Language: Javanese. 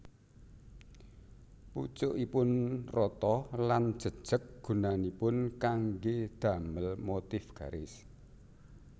Pucukipun rata lan jejeg gunanipun kanggé damel motif garis